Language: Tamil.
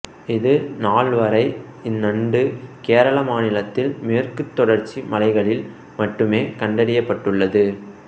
இது நாள் வரை இந்நண்டு கேரள மாநிலத்தில் மேற்குத் தொடர்ச்சி மலைகளில் மட்டுமே கண்டறியப்பட்டுள்ளது